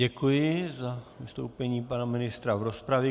Děkuji za vystoupení pana ministra v rozpravě.